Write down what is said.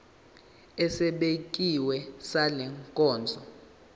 esibekiwe sale nkonzo